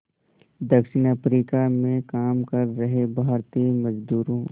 दक्षिण अफ्रीका में काम कर रहे भारतीय मज़दूरों